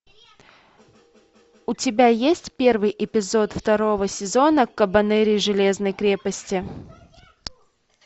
у тебя есть первый эпизод второго сезона кабанэри железной крепости